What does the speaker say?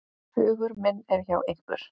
Hugur minn er hjá ykkur.